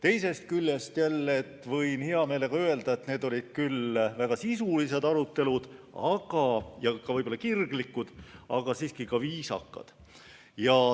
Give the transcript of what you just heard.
Teisest küljest võin hea meelega öelda, et need olid väga sisulised ja kirglikud arutelud, aga siiski viisakad.